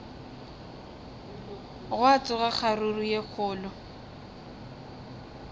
gwa tsoga kgaruru ye kgolo